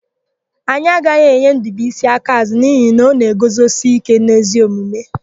Anyị agaghị enye Ndụbuisi akaàzụ́ n'ihi na ọ na-eguzosike n'ezi omume.